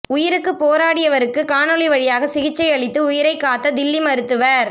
உயிருக்குப் போராடியவருக்கு காணொலி வழியாக சிகிச்சை அளித்து உயிரைக் காத்த தில்லி மருத்துவர்